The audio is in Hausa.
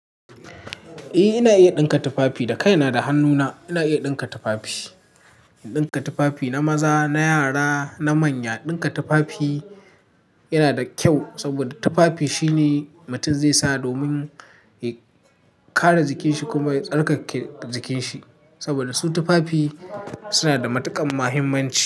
I ina iya ɗinka tufafi. Da kai na da hannu na, ina iya ɗinka tufafi. In ɗinka tufafi na maza, na yara, na manya. Ɗinka tufafi yana da kyau saboda tufafi shine mutum zai sa domin ya kare jikin shi kuma ya tsarkake jikin shi. Saboda su tufafi suna da matuƙan muhimmanci.